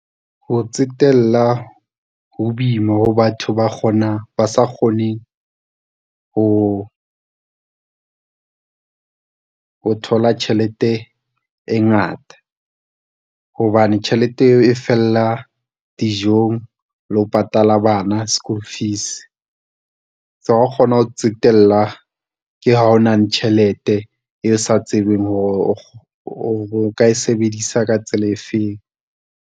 Ho tsetela, ho boima ho batho ba sa kgoneng ho thola tjhelete e ngata hobane tjhelete eo e fella dijong le ho patalla bana school fees. Tsa ho kgona ho tsetela ke ha o na le tjhelete e sa tsebeng hore o ka e sebedisa ka tsela efeng.